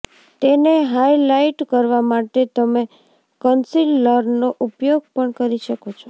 તેને હાઇલાઇટ કરવા માટે તમે કન્સીલરનો ઉપયોગ પણ કરી શકો છો